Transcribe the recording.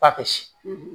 F'a ka si